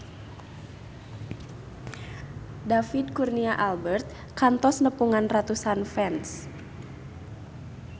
David Kurnia Albert kantos nepungan ratusan fans